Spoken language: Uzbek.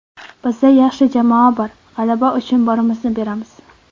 Bizda yaxshi jamoa bor, g‘alaba uchun borimizni beramiz.